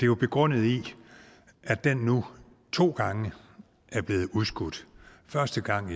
jo begrundet i at den nu to gange er blevet udskudt første gang